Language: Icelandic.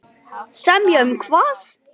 Hver syngur með sínu nefi.